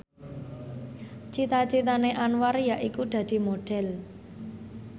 cita citane Anwar yaiku dadi Modhel